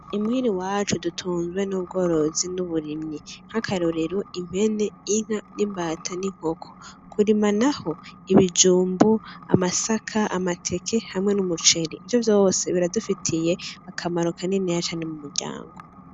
I muhira iwacu dutunzwe n'ubworozi n'uburimyi, nk'akarorero impene, inka, imbata n'inkoko, kurima naho ibijumbu, amasaka, amateke hamwe n'umuceri, ivyo vyose biradufitiye akamaro kaniniya cane mu muryango.